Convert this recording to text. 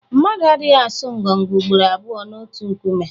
Mmadụ adịghị asọ ngọngọ ugboro abụọ n’otu nkume.